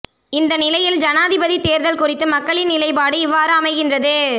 இந்த நிலையில் ஜனாதிபதித் தேர்தல் குறித்து மக்களின் நிலைப்பாடு இவ்வாறு அமைகின்றது